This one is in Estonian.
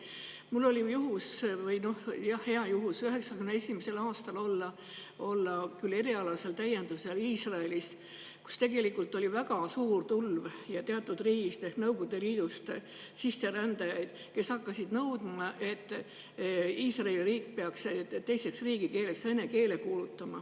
Mul oli hea juhus 1991. aastal olla erialasel täiendusel Iisraelis, kus oli teatud riigist ehk Nõukogude Liidust väga suur tulv sisserändajaid, kes hakkasid nõudma, et Iisraeli riik peaks teiseks riigikeeleks kuulutama vene keele.